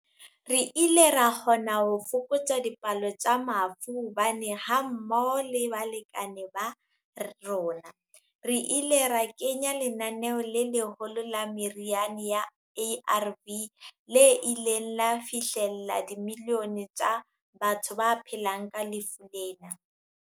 Re ile ra kgonahala ho fokotsa dipalo tsa mafu hobane, ha mmoho le balekane ba rona, re ile ra kenya lenaneo le leholo la meriana ya ARV le ileng la fihlella dimilione tsa batho ba phelang ka lefu lena.